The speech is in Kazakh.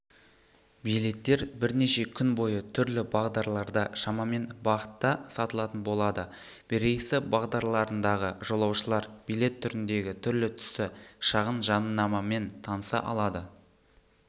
билеттер бірнеше күн бойы түрлі бағдарларда шамамен бағытта сатылатын болады рейсі бағдарларындағы жолаушылар билет түріндегі түрлі-түсті шағын жадынамамен таныса алады